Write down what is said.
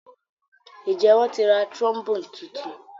Njé wón tí rá trombone títún?